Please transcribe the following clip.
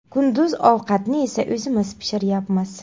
Kunduz ovqatni esa o‘zimiz pishiryapmiz.